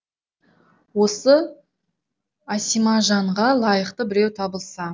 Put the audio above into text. осы әсимажанға лайықты біреу табылса